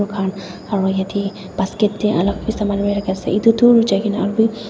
khan aro yatae basket tae alak bi saman loijai kaena aru--